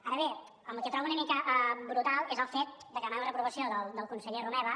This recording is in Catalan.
ara bé el que trobo una mica brutal és el fet de que demana la reprovació del conseller romeva